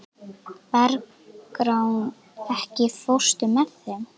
Bergrán, ekki fórstu með þeim?